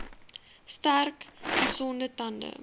sterk gesonde tande